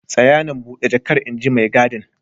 Tsaya nan, bude jakar inji maigadin.